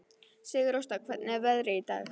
Sigurásta, hvernig er veðrið í dag?